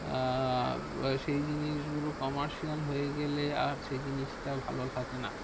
আহ সেই জিনিসগুলো commercial হয়ে গেলে আর সেই জিনিসটা ভালো থাকে না।